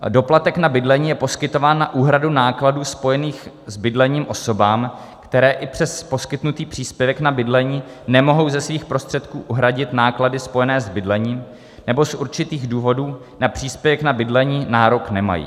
Doplatek na bydlení je poskytován na úhradu základů spojených s bydlením osobám, které i přes poskytnutý příspěvek na bydlení nemohou ze svých prostředků uhradit náklady spojené s bydlením, nebo z určitých důvodů na příspěvek na bydlení nárok nemají.